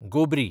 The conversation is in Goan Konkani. गोबरी